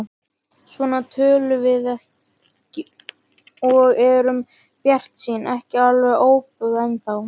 Svona tölum við og erum bjartsýn, ekki alveg óbuguð ennþá.